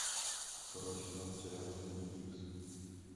второй сезон сериала твин пикс